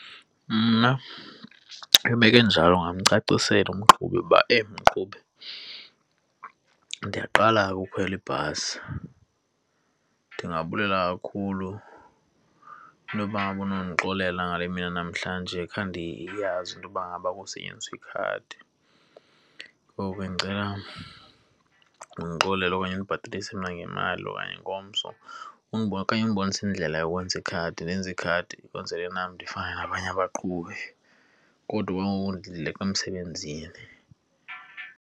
Mna, imeko enjalo ndingamcacisela umqhubi uba eyi, mqhubi ndiyaqala ke ukhwela ibhasi. Ndingabulela kakhulu intoba ngaba unondixolelela ngale mini yanamhlanje khange ndiyazi intoba ngaba kusetyenziswa ikhadi. Ngoku ke ndicela undixolele okanye ndimbhatalise mna ngemali okanye ingomso undibonise indlela yokwenza ikhadi, ndenze ikhadi ukwenzele nam ndifane nabanye abaqhubi kodwa okwa ngoku ndileqa emsebenzini.